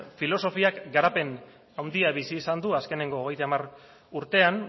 filosofiak garapen handia bizi izan du azkeneko hogeita hamar urtean